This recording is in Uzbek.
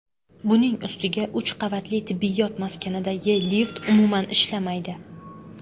Buning ustiga uch qavatli tibbiyot maskanidagi lift umuman ishlamaydi.